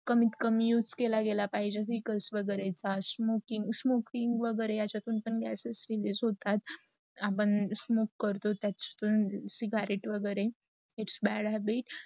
किंमत कमी use केल गेला पाहिजे. जस रिकालस वैगेरे, smoking वगैरे, यातून पण harmful gases release होतात. आपण smoke करतात, त्याचा तुन ceggrate वगैरे. its bad habit